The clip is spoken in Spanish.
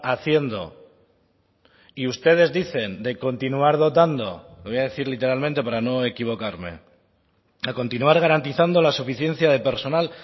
haciendo y ustedes dicen de continuar dotando lo voy a decir literalmente para no equivocarme a continuar garantizando la suficiencia de personal